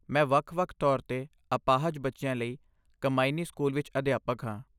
ਮੈਂ ਵੱਖ ਵੱਖ ਤੌਰ 'ਤੇ ਅਪਾਹਜ ਬੱਚਿਆਂ ਲਈ ਕੰਮਾਇਨੀ ਸਕੂਲ ਵਿੱਚ ਅਧਿਆਪਕ ਹਾਂ